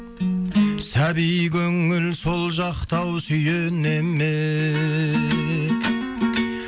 сәби көңіл сол жақта ау сүйене ме